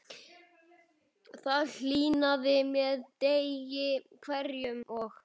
Það hlýnaði með degi hverjum og